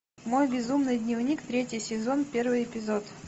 мой безумный дневник третий сезон первый эпизод